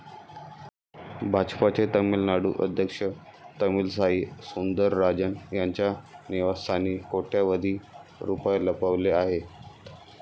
भाजपाचे तामिळनाडू अध्यक्ष तमिलसाई सुंदरराजन यांच्या निवास्थानी कोट्यवधी रुपये लपवलेले आहेत.